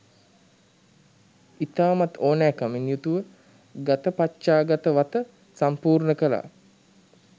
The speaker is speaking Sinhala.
ඉතාමත් ඕනෑකමින් යුතුව ගතපච්චාගත වත සම්පූර්ණ කළා